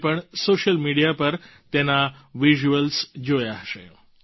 આપે પણ social media પર તેના વિઝ્યુઅલ્સ જોયા હશે